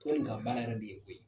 Tɔn in ka baara yɛrɛ de ye o ye.